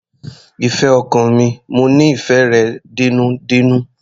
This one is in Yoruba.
Ìfẹ́ ọkàn mi, mo nífẹ̀ẹ́ rẹ dénúdénú.